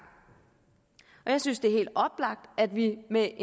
jeg synes det er helt oplagt at vi med